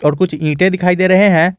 और कुछ ईंटें दिखाई दे रहे हैं।